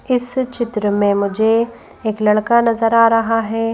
इस चित्र में मुझे एक लड़का नजर आ रहा है।